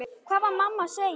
Hvað var mamma að segja?